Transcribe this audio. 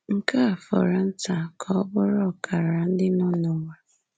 Nke a fọrọ nta ka ọ bụrụ ọkara ndị nọ n'ụwa.